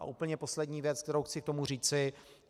A úplně poslední věc, kterou chci k tomu říci.